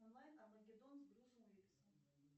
онлайн армагеддон с брюсом уиллисом